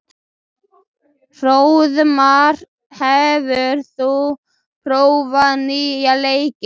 Hróðmar, hefur þú prófað nýja leikinn?